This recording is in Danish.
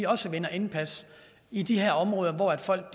også vinder indpas i de her områder hvor folk